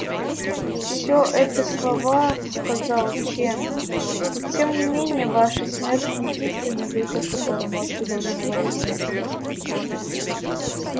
все это слова сказал чен и тем не менее ваша смерть не единственный выход который может удовлетворить нас